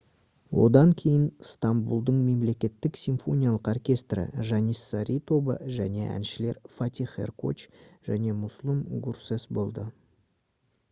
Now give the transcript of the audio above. одан кейін стамбұлдың мемлекеттік симфониялық оркестрі janissary тобы және әншілер фатих эркоч және муслум гурсес болды